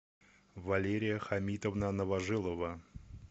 валерия хамитовна новожилова